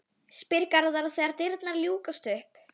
spyr Garðar þegar dyrnar ljúkast upp.